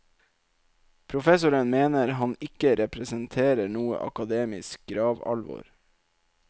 Professoren mener han ikke representerer noe akademisk gravalvor.